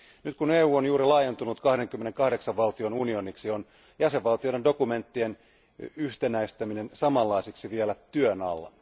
Nyt kun EU on juuri laajentunut 28 valtion unioniksi, on jäsenvaltioiden dokumenttien yhtenäistäminen samanlaisiksi vielä työn alla.